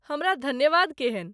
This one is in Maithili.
हमरा धन्यवाद केहन ?